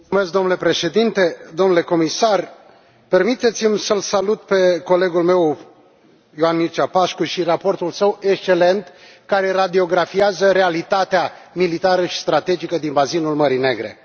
Domnule președinte, permiteți mi să îl salut pe colegul meu, Ioan Mircea Pașcu, și raportul său excelent care radiografiază realitatea militară și strategică din bazinul Mării Negre.